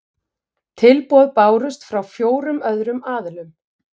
Tilboð bárust frá fjórum öðrum aðilum